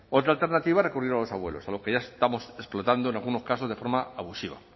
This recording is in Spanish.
otra alternativa es recurrir a los abuelos a los que ya estamos explotando en algunos casos de forma abusiva